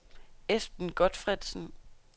Esben Gotfredsen